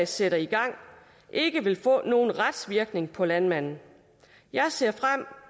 sætter i gang ikke vil få nogen retsvirkning for landmanden jeg ser frem